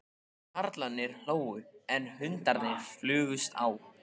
Karlarnir hlógu, en hundarnir flugust á.